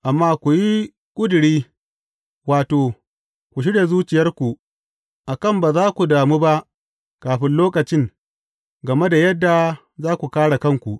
Amma ku yi ƙuduri, wato, ku shirya zuciyarku, a kan ba za ku damu ba kafin lokacin, game da yadda za ku kāre kanku.